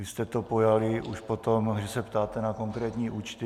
Vy jste to pojali už potom, že se ptáte na konkrétní účty.